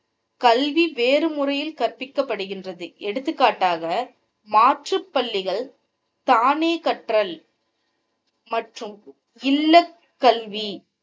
கல்வி வேறு முறையில் கற்பிக்கப்படுகிறது எடுத்துக்காட்டாக மாற்றுபள்ளிகள் தானே கல்வி மற்றும் இல்லக்கல்வி